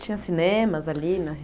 Tinha cinemas ali na re